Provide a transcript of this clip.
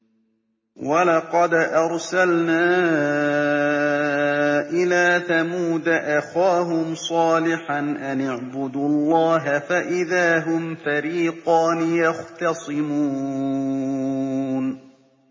وَلَقَدْ أَرْسَلْنَا إِلَىٰ ثَمُودَ أَخَاهُمْ صَالِحًا أَنِ اعْبُدُوا اللَّهَ فَإِذَا هُمْ فَرِيقَانِ يَخْتَصِمُونَ